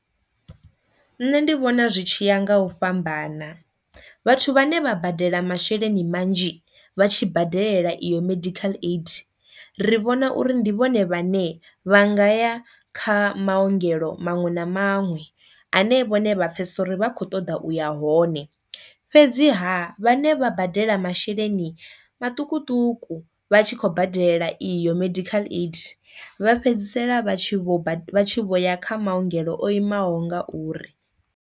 Nṋe ndi vhona zwi tshi ya nga u fhambana, vhathu vhane vha badela masheleni manzhi vha tshi badela iyo medical aid ri vhona uri ndi vhone vhane vha ngaya kha maongelo maṅwe na maṅwe ane vhone vha pfesesa uri vha kho ṱoḓa uya hone, fhedziha vhane vha badela masheleni maṱukuṱuku vha tshi khou badela iyo medical aid vha fhedzisela vha tshi vho vho ya kha maungelo o imaho ngauri.